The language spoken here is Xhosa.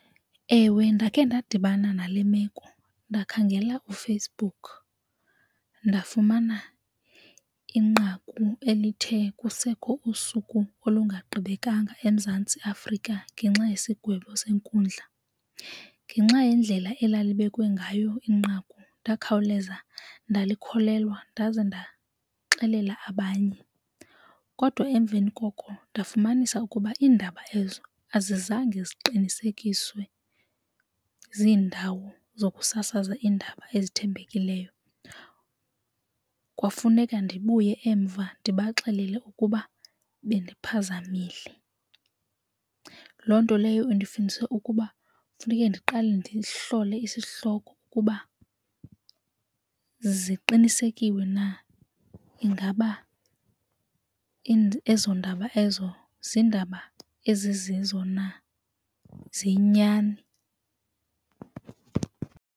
Ewe, ndakhe ndadibana nale meko ndakhangela uFacebook ndafumana inqaku elithe kusekho usuku olungagqibekanga eMzantsi Afrika ngenxa ngesigwebo senkundla. Ngenxa yendlela elalibekwe ngayo inqaku ndakhawuleza ndalikholwa ndaze ndaxelela abanye. Kodwa emveni koko ndafumanisa ukuba iindaba ezo azizange ziqinisekiswe ziindawo zokusasaza iindaba ezithembekileyo, kwafuneka ndibuye emva ndibaxelele ukuba bendiphazamile. Loo nto leyo indifundise ukuba funeke ndiqale ndihlole isihloko ukuba ziqinisekiwe na ingaba ezo ndaba ezo ziindaba ezizizo na ziyinyani.